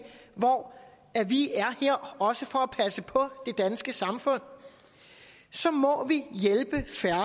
hvor vi er her også for at passe på det danske samfund så må vi hjælpe færre